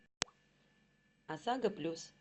осаго плюс